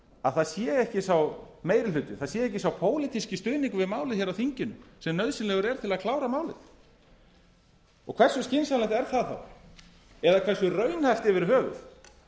að það sé ekki sá meiri hluti það sé ekki sá pólitíski stuðningur við málið á þinginu sem nauðsynlegur er til að klára málið hversu skynsamlegt er það þá eða hversu raunhæft yfir höfuð